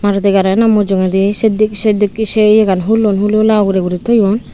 maruti gari gano mujugedi se dik se dikki se yegan hullon hulihulai ugure guri toyon.